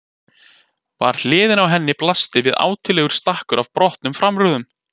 Við hliðina á henni blasti við álitlegur stakkur af brotnum framrúðum.